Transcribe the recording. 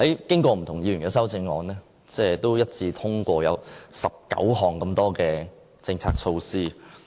經過不同議員的修正案，最後一致通過19項政策措施。